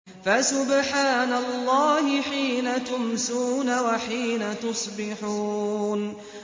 فَسُبْحَانَ اللَّهِ حِينَ تُمْسُونَ وَحِينَ تُصْبِحُونَ